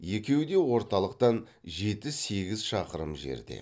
екеуі де орталықтан жеті сегіз шақырым жерде